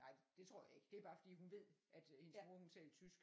Nej det tror jeg ikke det er bare fordi at hun ved at hendes mor hun taler tysk